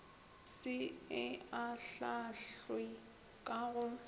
se e ahlaahlwe ka go